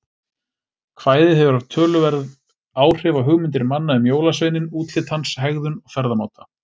Kvæðið hefur haft töluverð áhrif á hugmyndir manna um jólasveininn, útlit hans, hegðun og ferðamáta.